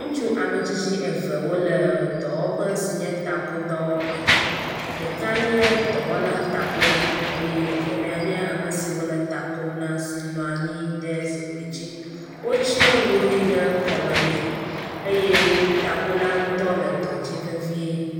Ŋutsu ame tsitsi eve wole dɔwɔƒe si nye takodɔwɔƒe, ɖeka nye dɔwɔla takola eye evelia nye ame si wole ta kom si nɔa nyi ɖe zikpui dzi, wotsyɔ nu ʋi ɖe kɔme nɛ eye takola ŋutɔ le dɔ dzi vevie.